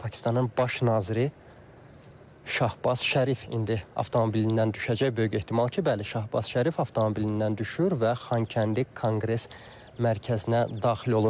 Pakistanın baş naziri Şahbaz Şərif indi avtomobilindən düşəcək böyük ehtimal ki, bəli, Şahbaz Şərif avtomobilindən düşür və Xankəndi Konqres Mərkəzinə daxil olur.